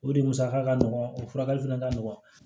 O de musaka ka nɔgɔn o furakɛli fɛnɛ ka nɔgɔn